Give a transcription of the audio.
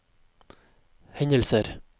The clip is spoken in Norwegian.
hendelser